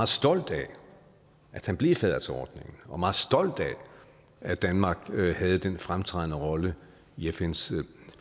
stolt af at han blev fadder til ordningen og meget stolt af at danmark havde den fremtrædende rolle i fns